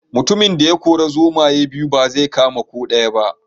Mutumin da ya kori zomaye biyu ba zai kama ko daya ba